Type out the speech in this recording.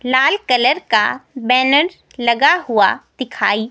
लाल colour का banner लगा हुआ दिखाई--